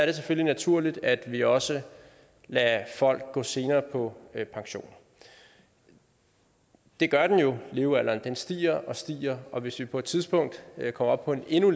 det selvfølgelig naturligt at vi også lader folk gå senere på pension det gør den jo levealderen stiger og stiger og hvis vi på et tidspunkt kommer op på en endnu